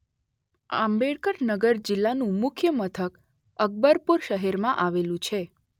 આંબેડકર નગર જિલ્લાનું મુખ્ય મથક અકબરપુર શહેરમાં આવેલું છે.